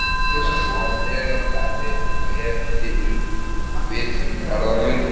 Einungis að verið hafi og ef til vill verða mundi.